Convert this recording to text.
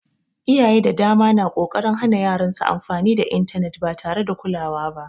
Iyaye da dama na ƙoƙarin hana yaran su amfani da intanet ba tare da kulawa ba